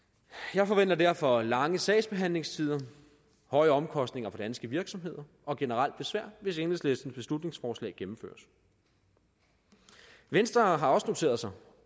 jeg forventer derfor lange sagsbehandlingstider højere omkostninger for danske virksomheder og generelt besvær hvis enhedslistens beslutningsforslag gennemføres venstre har også noteret sig